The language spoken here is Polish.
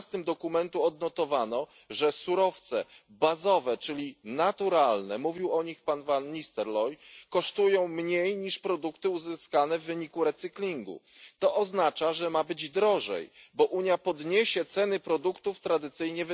12. dokumentu odnotowano, że surowce bazowe, czyli naturalne mówił o nich pan van Nistelrooij kosztują mniej niż produkty uzyskane w wyniku recyklingu. To oznacza, że ma być drożej, bo Unia podniesie ceny produktów wytwarzanych tradycyjnie.